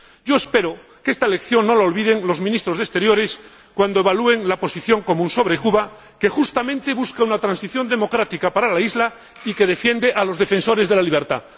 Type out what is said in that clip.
Yo espero que esta lección no la olviden los Ministros de Exteriores cuando evalúen la posición común sobre Cuba, que justamente busca una transición democrática para la isla y que defiende a los defensores de la libertad.